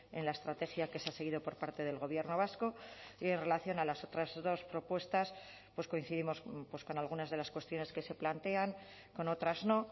en la estrategia que se ha seguido por parte del gobierno vasco y en relación a las otras dos propuestas pues coincidimos con algunas de las cuestiones que se plantean con otras no